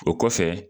O kɔfɛ